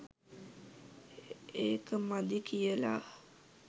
ඒක මදි කියලා.